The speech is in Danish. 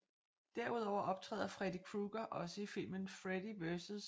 Derudover optræder Freddy Krueger også i filmen Freddy vs